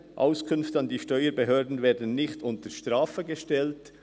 «Auskünfte an die Steuerbehörden werden nicht unter Strafe gestellt.